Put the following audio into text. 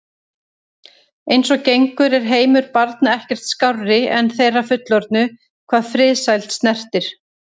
Eins og gengur er heimur barna ekkert skárri en þeirra fullorðnu hvað friðsæld snertir.